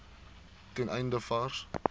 ten einde vars